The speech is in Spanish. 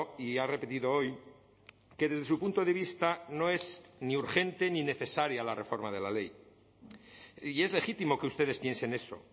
y ha repetido hoy que desde su punto de vista no es ni urgente ni necesaria la reforma de la ley y es legítimo que ustedes piensen eso